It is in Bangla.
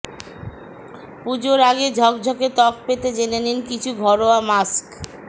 পুজোর আগে ঝকঝকে ত্বক পেতে জেনে নিন কিছু ঘরোয়া মাস্ক